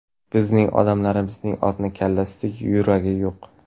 Bizning odamlarimizning otni kallasidek yuragi yo‘q.